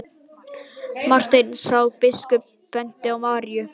Marteinn sá að biskup benti á Maríu.